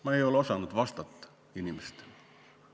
Ma ei ole osanud inimestele vastata.